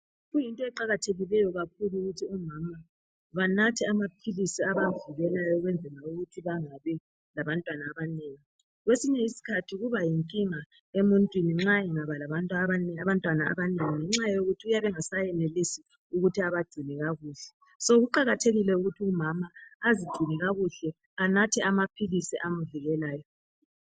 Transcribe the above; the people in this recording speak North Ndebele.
Kuyinto eqakathekileyo kakhulu ukuthi omama banathe amaphilisi abavikelayo ukwenzela ukuthi bangabi labantwana abanengi. Kwesinye isikhathi kuba yinkinga emuntwini nxa angaba labantwana abanengi ngenxa yokuthi uyabe ngaseyenelisi ukuthi abagcine kakuhle. So kuqakathekile ukuthi umama azigcine kakuhle anathe amaphilisi amvikelayo.